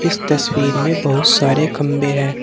इस तस्वीर में बहुत सारे खंबे है।